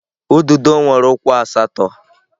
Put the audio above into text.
Ududo nwere ụkwụ asatọ.